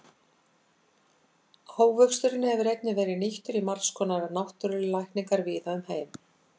ávöxturinn hefur einnig verið nýttur í margs konar náttúrulækningar víða um heim